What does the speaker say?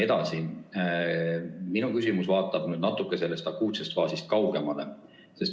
Minu küsimus vaatab sellest akuutsest faasist natuke kaugemale.